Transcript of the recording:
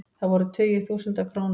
Það voru tugir þúsunda króna.